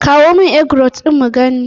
Kawo mun Eggroll ɗin in gani!